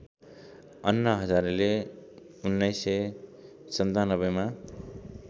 अन्ना हजारेले १९९७ मा